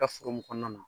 Ka foro mun kɔnɔna na